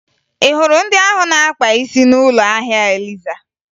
Ị hụrụ ndị ahụ na-akpa isi n'ụlọ ahịa Eliza?